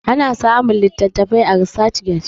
ana samun litattafai a research get